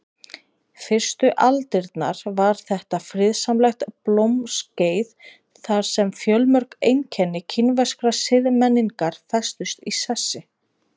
Fyrstu aldirnar var þetta friðsamlegt blómaskeið þar sem fjölmörg einkenni kínverskrar siðmenningar festust í sessi.